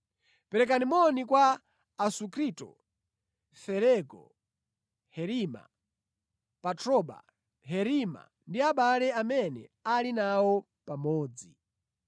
Perekani moni kwa Asunkrito, Felego, Herima, Patroba, Herima ndi abale amene ali nawo pamodzi.